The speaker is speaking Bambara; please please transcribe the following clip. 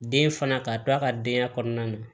Den fana ka to a ka denya kɔnɔna na